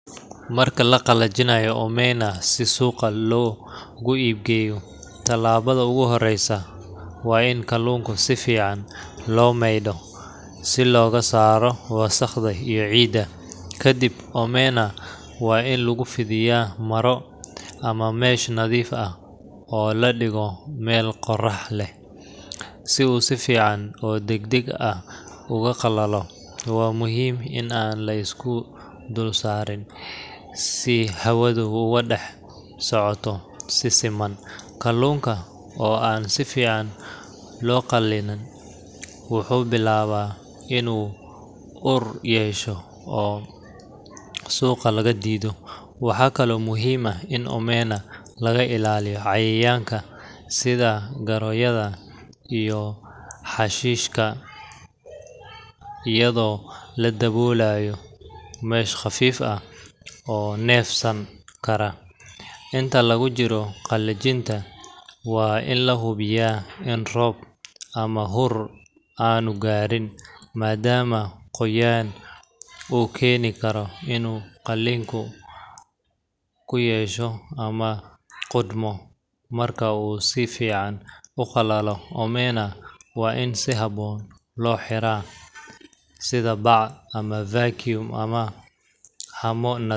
Marka la qalajinayo omena si suuqa loogu iib geeyo, tallaabada ugu horreysa waa in kalluunka si fiican loo maydho si looga saaro wasakhda iyo ciidda. Kadib, omena waa in lagu fidiyaa maro ama mesh nadiif ah oo la dhigo meel qorax leh, si uu si fiican oo degdeg ah ugu qalalo. Waa muhiim in aan la isku dul saarin, si hawadu ugu dhex socoto si siman, kalluunka oo aan si fiican u qalinna wuxuu bilaabaa inuu ur yeesho oo suuqa laga diido. Waxaa kaloo muhiim ah in omena laga ilaaliyo cayayaanka sida goroyada iyo xashiishka iyadoo la daboolayo mesh khafiif ah oo neefsan kara. Inta lagu jiro qalajinta, waa in la hubiyaa in roob ama huur aanu gaarin, maadaama qoyaan uu keeni karo inuu kalluunka ur yeesho ama qudhmo. Marka uu si fiican u qalalo, omena waa in si habboon loo xiraa, sida bacaha vacuum ah ama haamo nadiif ah.